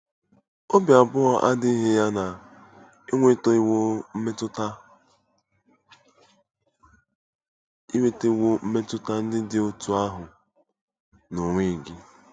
Obi abụọ adịghị ya na ị nwetawo mmetụta nwetawo mmetụta ndị dị otú ahụ n'onwe gị.